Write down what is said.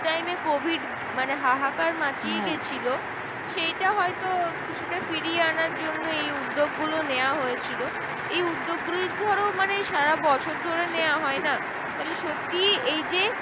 সেই time এ covid মানে হাহাকার দিয়েছিলো সেইটা হয়তো কিছুটা ফিরিয়ে আনার জন্য এই উদ্যোগগুলো নেওয়া হয়েছিল। এই উদ্যোগ গুলো ধরো মানে সারা বছর ধরে নেওয়া হয় না? তা হলে সত্যি এইযে